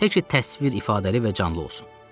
Tə ki təsvir ifadəli və canlı olsun.